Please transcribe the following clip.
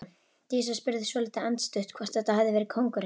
Dísa spurði svolítið andstutt hvort þetta hefði verið kóngurinn.